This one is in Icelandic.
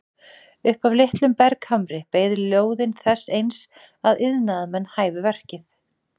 Upp af litlum berghamri beið lóðin þess eins að iðnaðarmenn hæfu verkið.